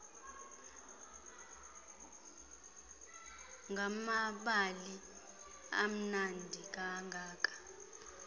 ngamabali amnandi kangaka